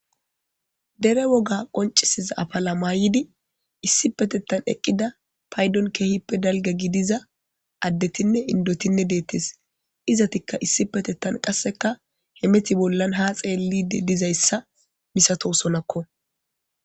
Dere woga qoncisiza apala maayidi issi petettan eqqida paydon keehippe dalga gidiza addetinne indotinne deettes izatikka issi petettan qasseka hemeti bollan ha xeelli dizayssa misato sonakko